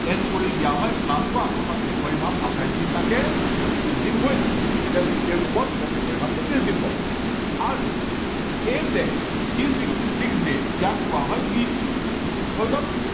add কৰি দিয়া হয় plus one অৰ্থাৎ ফেব্ৰুৱাৰী মাহত আঠাইশ দিন থাকে উনত্ৰিশ দিন হৈ যায় যেতিয়া leap year হব তেতিয়া ফেব্ৰুৱাৰী মাহত উনত্ৰিশ দিন হব আৰু এই যে three sixty six days ইয়াক কোৱা হয় leap year হৈ গল